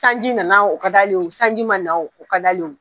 Sanji nana, o ka d'ale, sanji ma na o ka d'ale ye.